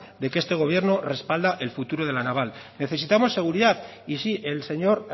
de que este gobierno respalda el futuro de la naval necesitamos seguridad y sí el señor